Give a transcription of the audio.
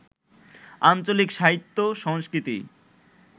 আঞ্চলিক সাহিত্য/সংস্কৃতি